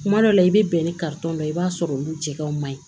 Kuma dɔ la i bɛ bɛn ni dɔ ye i b'a sɔrɔ olu jɛgɛnw man ɲi